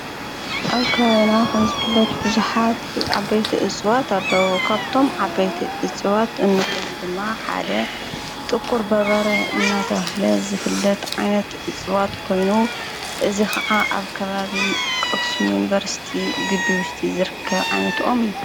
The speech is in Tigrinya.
ኣብ ከባዩና ኸም ዝፍለት ብዙኃት ዓበይቲ እጽዋት ኣለዉ ካብቶም ዓበይቲ እጽዋት እንብሉም ብማ ሓደ ጥኲር በበረ እናተብህለ ዘፍለት ዓይነት እጽዋት ኮይኑ እዝ ኸዓ ኣብ ከባብ ቕኽስም ዩንበርስቲ ግቢውሽቲ ዘርከብ ዓይነትኦም እዩ::